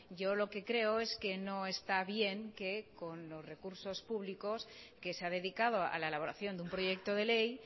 yo lo que creo es que no está bien que con los recursos públicos que se ha dedicado a la elaboración de un proyecto de ley